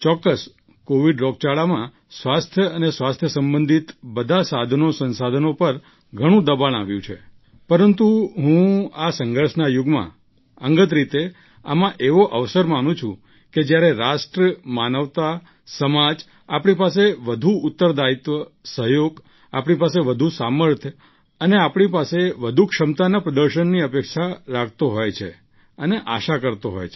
નિઃસંદેહ COVID રોગચાળામાં સ્વાસ્થ્ય અને સ્વાસ્થ્ય સંબંધિત બધાં સાધનોસંસાદનો પર ઘણું દબાણ આવ્યું પરંતુ હું આ સંઘર્ષના યુગમાં અંગત રીતે આમાં એવો અવસર માનું છું કે જ્યારે રાષ્ટ્ર માનવતા સમાજ આપણી પાસે વધુ ઉત્તરદાયિત્વ સહયોગ આપણી પાસે વધુ સામર્થ્ય અને આપણી પાસે વધુ ક્ષમતાના પ્રદર્શનની અપેક્ષા રાખતો હોય અને આશા કરતો હોય